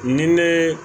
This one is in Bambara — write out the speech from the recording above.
Ni ne